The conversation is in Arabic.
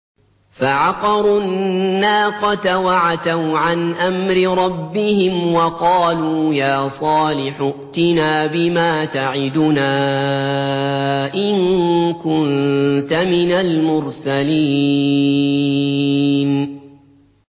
فَعَقَرُوا النَّاقَةَ وَعَتَوْا عَنْ أَمْرِ رَبِّهِمْ وَقَالُوا يَا صَالِحُ ائْتِنَا بِمَا تَعِدُنَا إِن كُنتَ مِنَ الْمُرْسَلِينَ